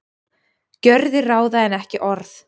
Gjörðir ráða en ekki orð